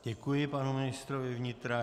Děkuji panu ministrovi vnitra.